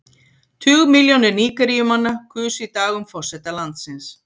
Tugmilljónir Nígeríumanna kusu í dag um forseta landsins.